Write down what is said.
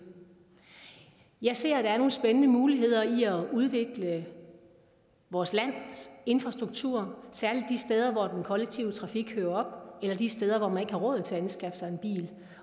jeg ser at der er nogle spændende muligheder i at udvikle vores lands infrastruktur særlig de steder hvor den kollektive trafik hører op eller de steder hvor man ikke har råd til at anskaffe sig en bil